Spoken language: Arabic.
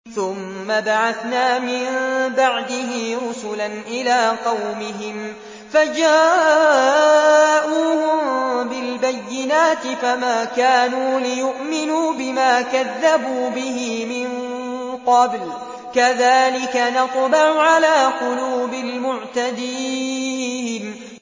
ثُمَّ بَعَثْنَا مِن بَعْدِهِ رُسُلًا إِلَىٰ قَوْمِهِمْ فَجَاءُوهُم بِالْبَيِّنَاتِ فَمَا كَانُوا لِيُؤْمِنُوا بِمَا كَذَّبُوا بِهِ مِن قَبْلُ ۚ كَذَٰلِكَ نَطْبَعُ عَلَىٰ قُلُوبِ الْمُعْتَدِينَ